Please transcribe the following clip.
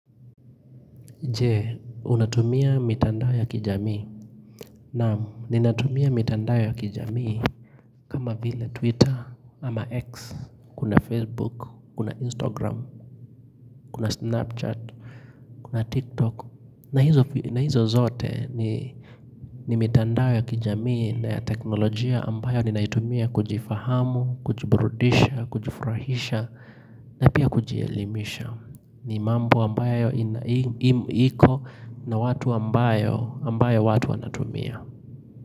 Jee, unatumia mitandao ya kijamii, naam, ninatumia mitandao ya kijamii, kama vile Twitter, ama X, kuna Facebook, kuna Instagram, kuna Snapchat, kuna TikTok, na hizo zote ni mitandao ya kijamii na ya teknolojia ambayo ninaitumia kujifahamu, kujiburudisha, kujifrahisha, na pia kujielimisha. Ni mambo ambayo inaimu hiko na watu ambayo ambayo watu anatumia.